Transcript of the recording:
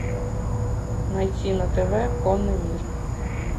найти на тв конный мир